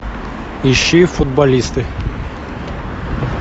ищи футболисты